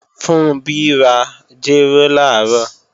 Funbí ra jéró làárọ̀